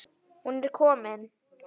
Hún er komin